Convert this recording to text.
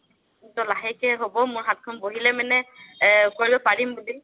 তৌ লাহেকে হ'ব মোৰ হাতখন বহিলে মানে আ কৰিব পাৰিম বুলি